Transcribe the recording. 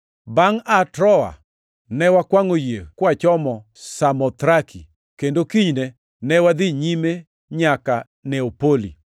Bangʼ aa Troa, ne wakwangʼo yie kwachomo Samothraki kendo kinyne ne wadhi nyime nyaka Neapoli.